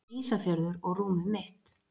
Ísafjörður og rúmið mitt